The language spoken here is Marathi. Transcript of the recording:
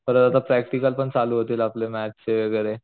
परत प्रॅक्टिकल पण चालू होतील आपले मॅथ्स चे वैगेरे.